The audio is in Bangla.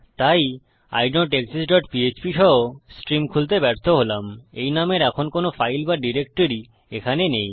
তাই আইডনটেক্সিস্ট ডট পিএচপি সহ স্ট্রিম খুলতে ব্যর্থ হলাম এই নামের এমন কোনো ফাইল বা ডিরেক্টরি এখানে নেই